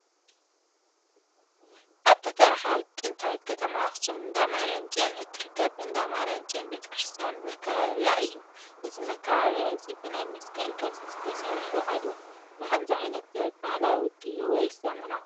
ኣብታ ታሪካዊት ጥንታዊት ከተማ ኣክሱም እንዳማርያም ፅዮን እትርከብ እንዳ ማርያም ፅዮን ቤተ-ክርስትያን መካበብያ እዩ። እዚ መካበብያ እዚ ብናይ መስቀል ቅርፂ ተሰሪሑ ኣሎ። ብከምዙይ ዓይነት ጥበብ ባህላዊ ድዩ ወይስ ዘመናዊ ?